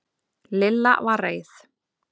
Lilla var reið.